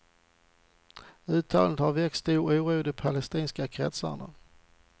Uttalandet har väckt stor oro i de palestinska kretsarna.